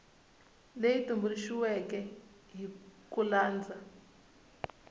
leyi tumbuluxiweke hi ku landza